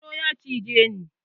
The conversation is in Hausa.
Sauro ya cije ni